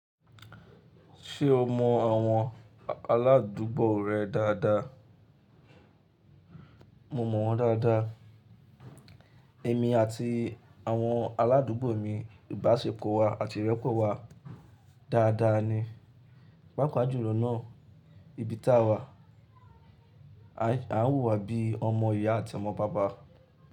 Ṣé o mọ àwọn aládùúgbò rẹ dáadáa? Mo mọ̀ wọ́n dáadáa. Èmi àti àwọn aládùúgbò mi ìbáṣepọ̀ wa àti ìrẹ́pọ̀ wa dáadáa ni. Pápá jùlọ náà, ibi táa wà, à ń wùwà bíi ọmọ ìyá àti ọmọ bàbá.